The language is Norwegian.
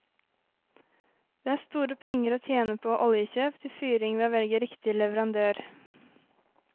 Det er store penger å tjene på oljekjøp til fyring ved å velge riktig leverandør.